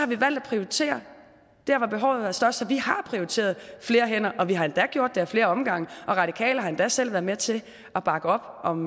vi valgt at prioritere der hvor behovet er størst så vi har prioriteret flere hænder og vi har endda gjort det af flere omgange og radikale har endda selv været med til at bakke op om